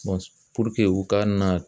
u ka na